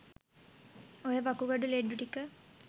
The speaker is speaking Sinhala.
ඔය වකුගඩු ලෙඩ්ඩු ටික